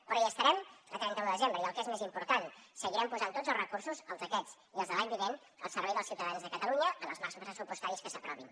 però hi estarem a trenta un de desembre i el que és més important seguirem posant tots els recursos els d’aquest i els de l’any vinent al servei dels ciutadans de catalunya en els marcs pressupostaris que s’aprovin